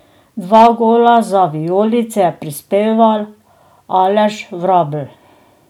Dva gola za vijolice je prispeval Aleš Vrabel.